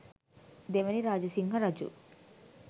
දෙවැනි රාජසිංහ රජු